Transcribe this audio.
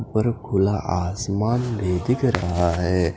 ऊपर खुला आसमान में दिख रहा है।